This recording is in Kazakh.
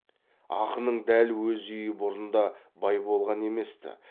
ақынның дәл өз үйі бұрын да бай болған еместі